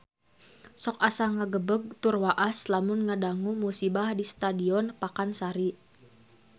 Sok asa ngagebeg tur waas lamun ngadangu musibah di Stadion Pakansari